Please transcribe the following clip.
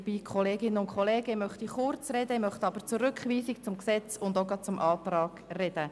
Ich möchte kurz etwas zur Rückweisung, zum Gesetz und auch zum Antrag sagen.